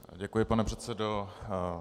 Děkuji, pane předsedo.